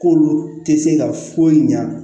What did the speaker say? K'olu tɛ se ka foyi ɲa